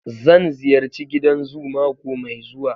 Zan ziyarci gidan zoo mako mai zuwa.